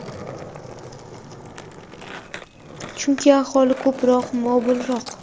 Chunki aholi ko‘proq mobilroq.